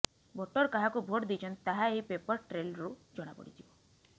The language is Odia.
ଭୋଟର କାହାକୁ ଭୋଟ ଦେଇଛନ୍ତି ତାହା ଏହି ପେପର ଟ୍ରେଲ୍ରୁ ଜଣାପଡ଼ିଯିବ